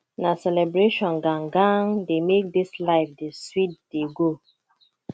na celebration gan gan dey make dis life dey sweet dey go